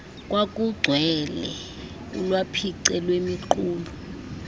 kwakugcwele ulwaphice lwemiqulu